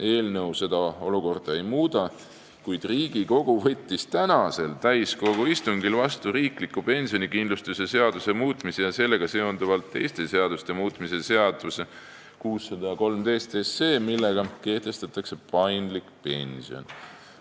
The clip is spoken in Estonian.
Eelnõu seda olukorda ei muuda, kuid Riigikogu võttis tänasel täiskogu istungil vastu riikliku pensionikindlustuse seaduse muutmise ja sellega seonduvalt teiste seaduste muutmise seaduse eelnõu 613, millega kehtestatakse paindlik pension.